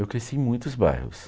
Eu cresci em muitos bairros.